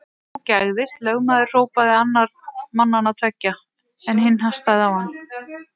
Þú gægðist, lögmaður hrópaði annar mannanna tveggja, en hinn hastaði á hann.